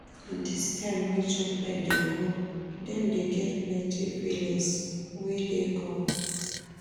Dis time wey children dey grow, dem dey get plenty feelings wey dey come.